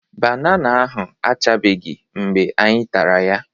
Banana ahụ achabeghị mgbe anyị tara ya